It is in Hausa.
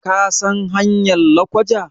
kasan hanyar lakwaja?